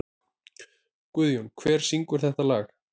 Guðjón, hver syngur þetta lag?